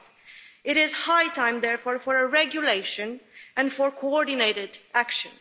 5. It is high time therefore for a regulation and for coordinated action.